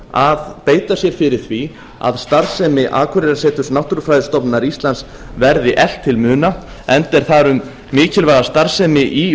að beita sér fyrir því að starfsemi akureyrarseturs náttúrufræðistofnunar íslands verði eflt til muna enda er þar um mikilvæga starfsemi í